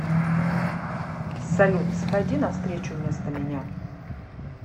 салют сходи на встречу вместо меня